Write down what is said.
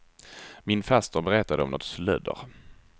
Min faster berättade om något slödder.